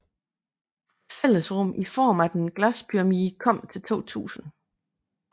Et fællesrum i form af en glaspyramide kom til i 2000